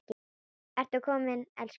Ertu kominn, elskan mín?